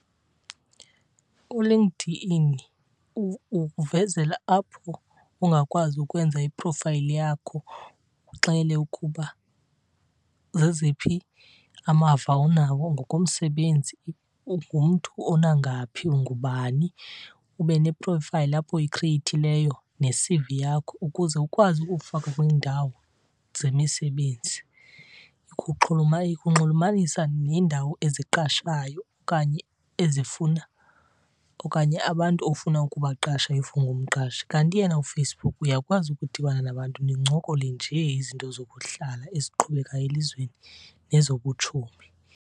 ULinkedIn ukuvezela apho ungakwazi ukwenza i-profile yakho uxele ukuba zeziphi amava onawo ngokomsebenzi, ungumntu onangaphi, ungubani. Ube ne-profile apho uyikhriyeyithileyo ne-C_V yakho ukuze ukwazi ukufaka kwiindawo zemisebenzi. Ikunxulumanisa neendawo eziqashayo okanye ezifuna okanye abantu ofuna ukubaqasha if ungumqashi. Kanti yena uFacebook uyakwazi ukudibana nabantu nincokole njee izinto zokuhlala eziqhubekayo elizweni nezobutshomi.